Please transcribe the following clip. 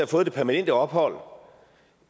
fået det permanente ophold